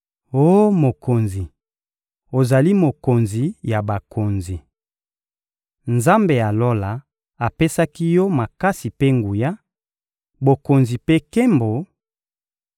Oh mokonzi, ozali mokonzi ya bakonzi! Nzambe ya Lola apesaki yo makasi mpe nguya, bokonzi mpe nkembo;